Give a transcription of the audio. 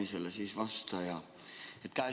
Hea vastaja!